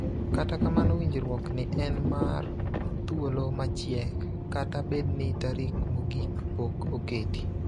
Kata kamano winjruok ni en mar thuolo machiek (kata bedni tarik mogik pok oketi).